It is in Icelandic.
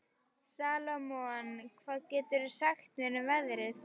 Salómon, hvað geturðu sagt mér um veðrið?